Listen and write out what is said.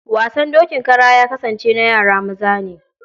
Wasan dokin kara ya kasance na yara maza ne.